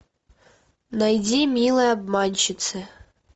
найди милые обманщицы